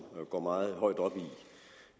går meget højt op i